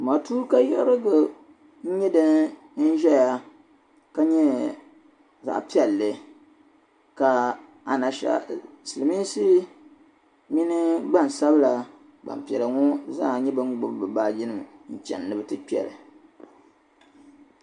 Matuuka yiɣirigu n-nyɛ din zaya ka nyɛ zaɣ' piɛlli ka siliminsi mini gbansabila gbubi bɛ baajinima chani ni bɛ ti kpe li.